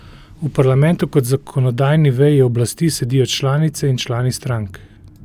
V parlamentu kot zakonodajni veji oblasti sedijo članice in člani strank.